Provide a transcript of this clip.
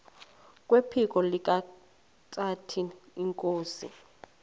kwephiko likahintsathi inkosi